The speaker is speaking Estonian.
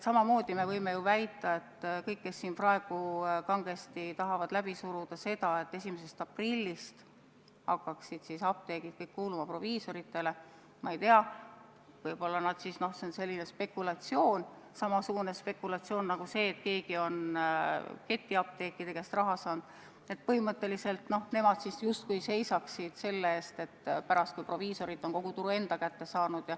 Samamoodi me võime ju väita, et kõik, kes siin praegu kangesti tahavad läbi suruda seda, et 1. aprillist hakkaksid kõik apteegid kuuluma proviisoritele, võib-olla nad siis – see on samasugune spekulatsioon nagu see, et keegi on ketiapteekide käest raha saanud – justkui seisavad selle eest, et pärast proviisorid kogu tulu enda kätte saaksid.